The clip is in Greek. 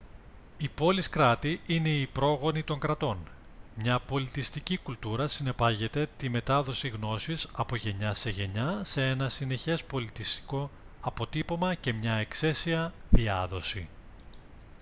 οι πόλεις κράτη είναι οι πρόγονοι των κρατών μια πολιτιστική κουλτούρα συνεπάγεται τη μετάδοση γνώσης από γενιά σε γενιά σε ένα συνεχές πολιτιστικό αποτύπωμα και μια εξαίσια διάδοση